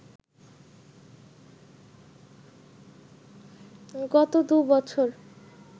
গত দুবছর